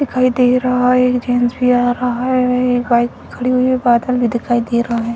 दिखाई दे रहा है एक जेंट्स भी आ रहा है एक बाइक भी खड़ी हुई है पैदल भी दिखाई दे रहा है।